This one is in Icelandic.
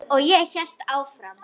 Og ég hélt áfram.